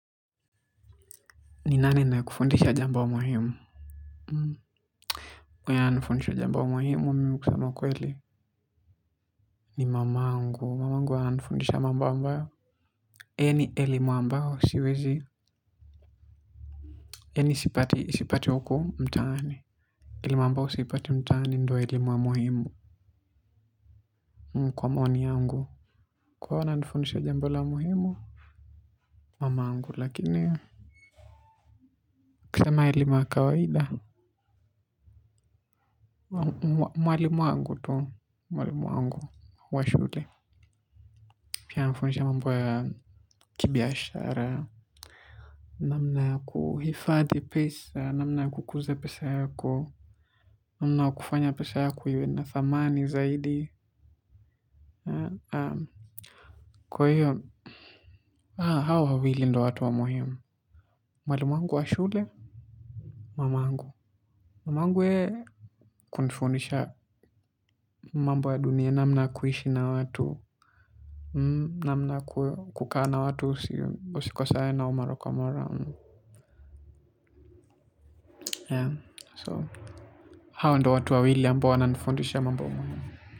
Ni nani anaye kufundisha jambo muhimu? Mwenye ananifundisha jamba muhimu, mimi kusema ukweli kwele. Ni mamangu, mamangu ananifundisha mamba ambayo yani elimu ambayo siwezi yani sipati, sipati huko mtaani elimu ambayo siipati mtani ndo elimu ya muhimu. Kwa maoni yangu kwa hiyo ananifundisha jambo la muhimu? Mamangu lakini ukisema elimu ya kawaida. Mwalimu wangu tu. Mwalimu wangu wa shule. Pia anifundisha mambo ya kibiashara. Namna ya kuhifadhi pesa. Namna ya kukuza pesa yako. Namna ya kufanya pesa yako iwe na thamani zaidi. Kwa hiyo. Hawa wawili ndo watu wa muhimu. Mwalimu wangu wa shule. Mamangu. Mamangu yeye. Kunifundisha mambo ya dunia. Namna ya kuishi na watu. Namna kukaa na watu usikosane nao mara kwa mara. So hao ndo watu wawili ambao wananifundisha mambo muhimu.